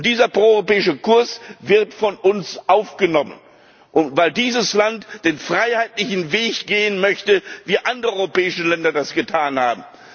Und dieser proeuropäische Kurs wird von uns aufgenommen, weil dieses Land den freiheitlichen Weg gehen möchte, wie andere europäische Länder das getan haben.